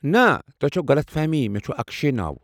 نہٕ ، تۄہہ چھوٕ غلط فہمی ، مےٚ چُھ اکشے ناو ۔